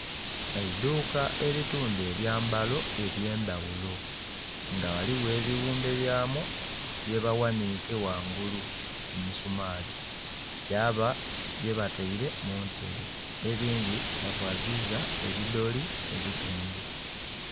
Eiduuka eri tunda ebyambalo eby'endhaghulo nga ghaligho ebighumbebyamu byebaghanhiike ghangulu ku misumaali, yaba byebataire mu ntebe, ebindhi bavaziza ebidoli ebitundhu.